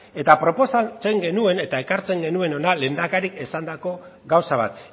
eta proposatzen genuen eta ekartzen genuen hona lehendakariak esandako gauza bat